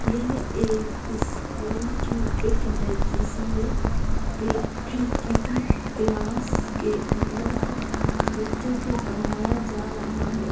यह एक स्कूल की पिक है जिसमें क्ला किसी क्लास के अंदर को बच्चों को पढ़ाया जा रहा है|